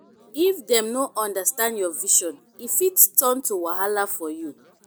if dem no understand your vision e fit turn to wahala for you.